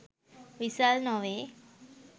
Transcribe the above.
විසල් නොවේ.